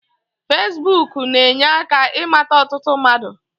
Fesibuk na-enye aka ịmata ọtụtụ mmadu